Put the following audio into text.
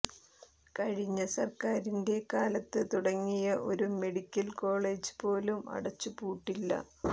കഴിഞ്ഞ സര്ക്കാരിന്റെ കാലത്ത് തുടങ്ങിയ ഒരു മെഡിക്കല് കോളജ് പോലും അടച്ചു പൂട്ടില്ല